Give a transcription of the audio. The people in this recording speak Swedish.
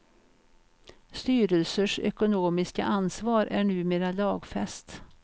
Styrelsers ekonomiska ansvar är numera lagfäst.